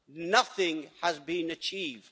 nothing has been achieved.